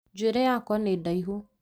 Njũĩrĩ yakwa nĩ ndaihu